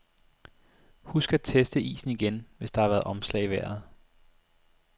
Husk at teste isen igen, hvis der har været omslag i vejret.